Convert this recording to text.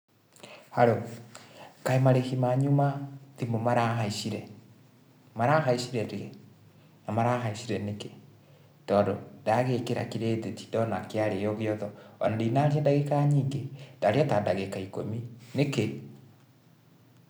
Haro, kaĩ marĩhi manyũ ma thĩmũ marahaicire? marahaicire rĩ? na marahaicire nĩkĩ? tondũ ndagĩkĩra credit ndona kĩarĩo gĩothe, ona ndinaria ndagĩka nyingĩ ndaria ta ndagĩka ĩkũmi, nĩkĩ?